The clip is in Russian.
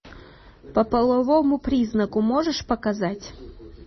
по половому признаку можешь показать